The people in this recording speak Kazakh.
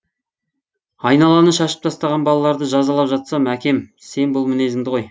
айналаны шашып тастаған балаларды жазалап жатсам әкем сен бұл мінезіңді қой